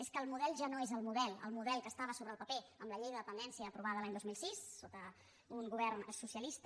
és que el model ja no és el model el model que estava sobre el paper amb la llei de dependència aprovada l’any dos mil sis sota un govern socialista